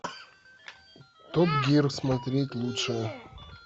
топ гир смотреть лучшее